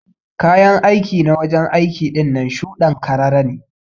Kayan aiki na wajen aiki ɗinnan shude'n karara ne.